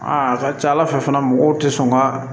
Aa a ka ca ala fɛ fana mɔgɔw tɛ sɔn ka